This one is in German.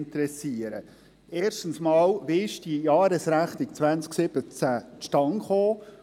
Erstens einmal: Wie ist die Jahresrechnung 2017 zustande gekommen?